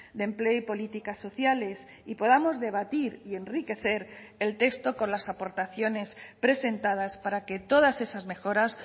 de empleo y políticas sociales y podamos debatir y enriquecer el texto con las aportaciones presentadas para que todas esas mejoras